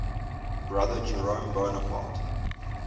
brother jerome bonaparte